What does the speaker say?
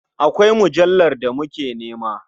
Akwai mujallar da muke nema.